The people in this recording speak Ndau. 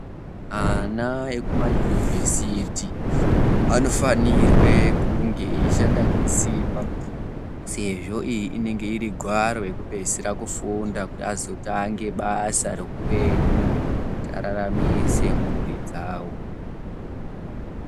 Ana ekumayunuvhesiti, anofanirwe kunge eyishanda ngesimba, sezvo iyi inenge iri gwaro rekupedzisira kufunda, kuti azotange basa reupenyu kuti araramise mburi dzawo.